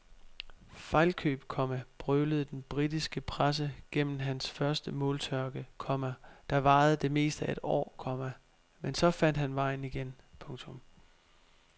Fejlkøb, komma brølede den britiske presse gennem hans første måltørke, komma der varede det meste af et år, komma men så fandt han vejen igen. punktum